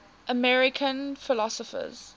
american philosophers